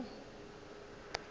go wa le go tsoga